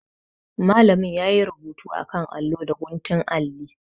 Malamin ya yi rubutu a kan allo da guntun alli.